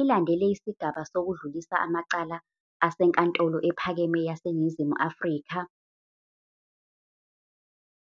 Ilandele Isigaba Sokudlulisa Amacala seNkantolo Ephakeme laseNingizimu Afrika